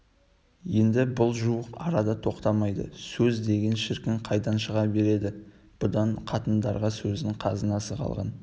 енді бұл жуық арада тоқтамайды сөз деген шіркін қайдан шыға береді бұдан қатындарда сөздің қазынасы қалған